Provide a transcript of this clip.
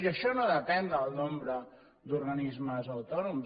i això no depèn del nombre d’organismes autònoms